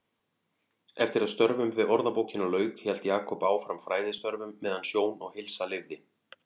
Eftir að störfum við Orðabókina lauk hélt Jakob áfram fræðistörfum meðan sjón og heilsa leyfði.